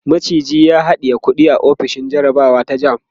maciji ya haɗiye kuɗi a ofishin jarabawa ta JAMB